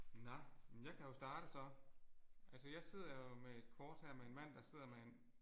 Nåh men jeg kan jo starte så. Altså jeg sidder jo med et kort her med en mand der sidder med en